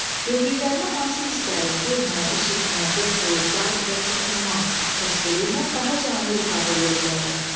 Gördüklərimi hansı hisslərin, görmə, eşitmə, qoxu, dad və toxunma təsviri ilə daha canlı ifadə eləyə bilərəm?